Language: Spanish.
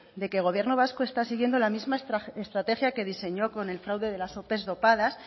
de que el gobierno vasco está siguiendo la misma estrategia que diseñó con el fraude de las ope dopadas